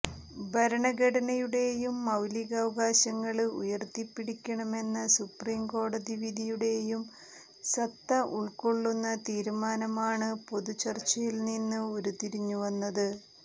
ഭരണഘടനയുടെയും മൌലികാവകാശങ്ങള് ഉയര്ത്തിപ്പിടിക്കണമെന്ന സുപ്രീം കോടതി വിധിയുടെയും സത്ത ഉള്ക്കൊള്ളുന്ന തീരുമാനമാണ് പൊതു ചര്ച്ചയില് നിന്ന് ഉരുത്തിരിഞ്ഞു വന്നത്